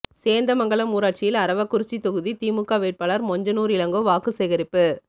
சேந்தமங்கலம் ஊராட்சியில் அரவக்குறிச்சி தொகுதி திமுக வேட்பாளர் மொஞ்சனூர் இளங்கோ வாக்கு சேகரிப்பு